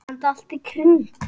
Enda allt í kring.